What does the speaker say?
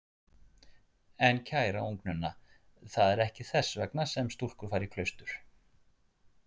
En kæra ungnunna, það er ekki þess vegna sem stúlkur fara í klaustur.